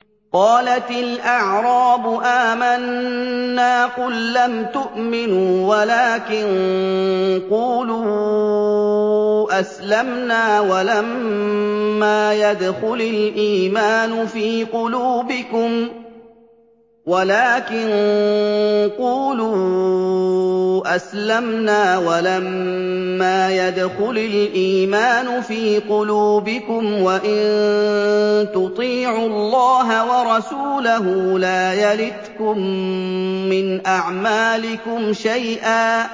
۞ قَالَتِ الْأَعْرَابُ آمَنَّا ۖ قُل لَّمْ تُؤْمِنُوا وَلَٰكِن قُولُوا أَسْلَمْنَا وَلَمَّا يَدْخُلِ الْإِيمَانُ فِي قُلُوبِكُمْ ۖ وَإِن تُطِيعُوا اللَّهَ وَرَسُولَهُ لَا يَلِتْكُم مِّنْ أَعْمَالِكُمْ شَيْئًا ۚ